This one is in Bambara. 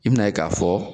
I bina ye k'a fɔ